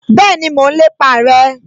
Bẹ́ẹ̀ni, mo n lépa rẹ